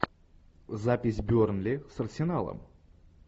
запись бернли с арсеналом